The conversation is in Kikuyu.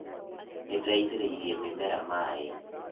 Nĩndĩraitĩrĩirie mĩmera maĩ